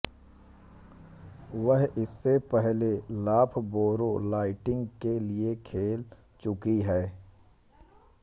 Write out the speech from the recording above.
वह इससे पहले लॉफबोरो लाइटनिंग के लिए खेल चुकी हैं